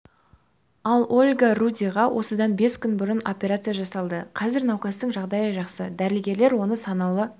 ал ольга рудиға осыдан бес күн бұрын операция жасалды қазір науқастың жағдайы жақсы дәрігерлер оны санаулы